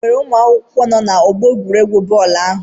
Enwere ụmụ akwụkwọ nọ n'ọgbọ egwuregwu bọọlụ ahụ?